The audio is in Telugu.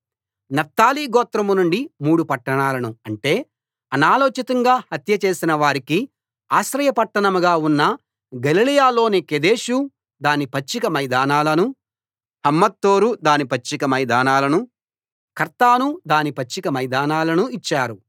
నఫ్తాలి గోత్రం నుండి మూడు పట్టణాలను అంటే అనాలోచితంగా హత్యచేసిన వారికి ఆశ్రయ పట్టణంగా ఉన్న గలిలయలోని కెదెషు దాని పచ్చిక మైదానాలనూ హమ్మోత్దోరు దాని పచ్చిక మైదానాలనూ కర్తాను దాని పచ్చిక మైదానాలనూ ఇచ్చారు